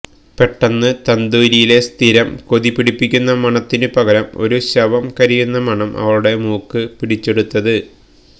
പെട്ടെന്നാണ് തന്തൂരിയിലെ സ്ഥിരം കൊതിപിടിപ്പിക്കുന്ന മണത്തിനു പകരം ഒരു ശവം കരിയുന്ന മണം അവളുടെ മൂക്ക് പിടിച്ചെടുത്തത്